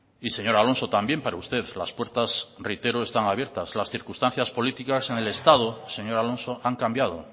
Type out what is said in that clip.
y señor alonso también para usted las puertas reitero están abiertas las circunstancias políticas en el estado señor alonso han cambiado